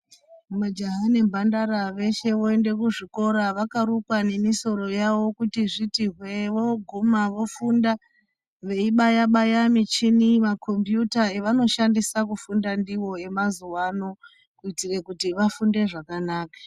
Majaha nemphandara ,veshe voende kuzvikora vakarukwa nemisoro yavo kuti zviti hwee. Voguma vofunda, veibaya-baya michini, makhombiyuta evanoshandisa kufunda ndiwo emazuwaano ,kuitire kuti vafunde zvakanaka.